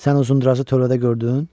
Sən Uzundraza tövlədə gördün?